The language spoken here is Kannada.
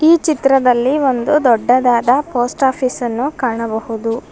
ಈ ಚಿತ್ರದಲ್ಲಿ ಒಂದು ದೊಡ್ಡದಾದ ಪೋಸ್ಟ್ ಆಫೀಸನ್ನು ಕಾಣಬಹುದು.